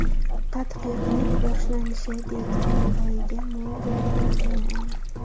Tadqiqot boshlanishi dekabr oyiga mo‘ljallangan.